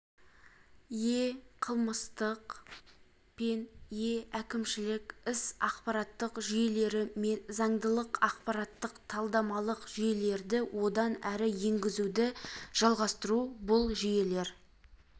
е-қылмыстық пен е-әкімшілік іс ақпараттық жүйелері мен заңдылық ақпараттық-талдамалық жүйелерді одан әрі енгізуді жалғастыру бұл жүйелер